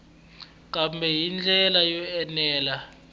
kambe hi ndlela yo enela